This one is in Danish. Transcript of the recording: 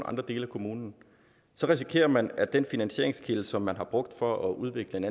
andre dele af kommunen så risikerer man at den finansieringskilde som man har brugt for at udvikle en